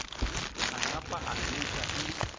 a napa a hwetša e